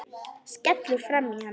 Skellur framan í hann.